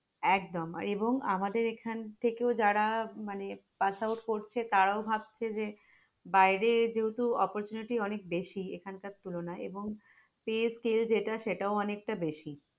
একদম এবং আমাদের এখান থেকেও যারা মানে passout করছে তারাও ভাবছে যে বাইরে যেহেতু oppurtunaity অনেক বেশি এখানকার তুলনায় এবং pay scale যেটা সেটাও অনেকটা বেশি